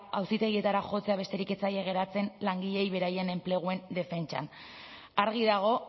auzitegietara jotzea besterik ez zaie geratzen langileei beraien enpresen defentsan argi dago